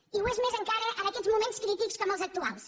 i ho és més encara en aquests moments crítics com els actuals